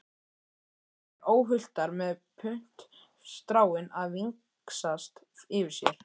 Hér voru þær óhultar með puntstráin að vingsast yfir sér.